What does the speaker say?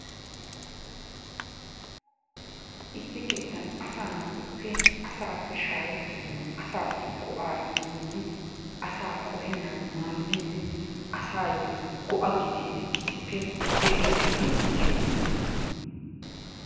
Issi kettaan asaa natuppe assappe shaahetennani asaasi go'aa imiyoge, asa qohenanni madidi, asaayoo go'aa gididdi issippee de'iyaagettaa giyogaa.